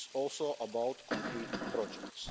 funds it's also about concrete